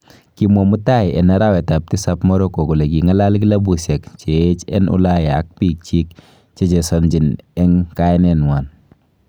Kimwaa mutai en arawetab tisab Monaco kole : King'alal kilabushiek cheyech en Ulaya ak bik kyik chechesonjin omo kayanenywan.